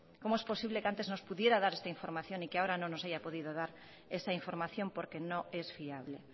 cómo es posible que antes nos pudiera dar esta información y que ahora no nos haya podido esa información porque no es fiable